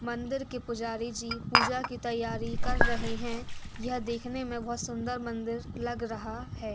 मंदिर के पुजारी जी पूजा कि तयारी कर रहे हैं। यह देखने मे बहुत सुंदर मंदिर लग रहा है।